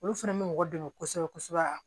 Olu fana bɛ mɔgɔ dɛmɛ kosɛbɛ kosɛbɛ